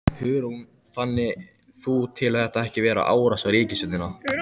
Hugrún: Þannig þú telur þetta ekki vera árás á ríkisstjórnina?